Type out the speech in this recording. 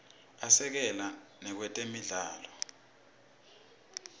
asekela nakwetemidlalo